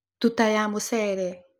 Tuta ya mũcere